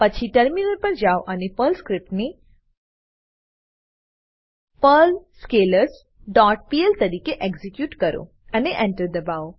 પછી ટર્મિનલ પર જાઓ અને પર્લ સ્ક્રીપ્ટને પર્લ સ્કેલર્સ ડોટ પીએલ તરીકે એક્ઝીક્યુટ કરોઅને Enter દબાઓ